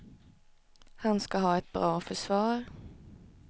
Han ska ha ett bra försvar.